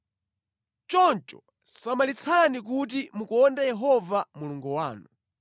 Choncho samalitsani kuti mukonde Yehova Mulungu wanu.